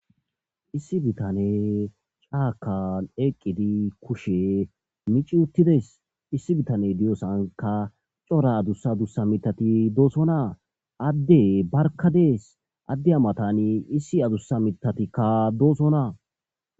Issi bitane caakan eqqidi kushe mici uttides issi bitane diyosanka cora adussa adussa mitati doosonaa adde barka dees adde amatani issi adusa mitatikka doosonaa.